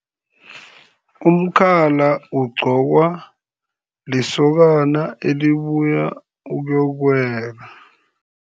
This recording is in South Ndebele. Umkhala ugqokwa lisokana elibuya ukuyokuwela.